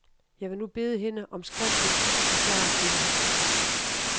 Jeg vil nu bede hende om skriftligt at forklare dette her.